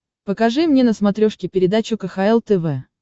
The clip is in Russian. покажи мне на смотрешке передачу кхл тв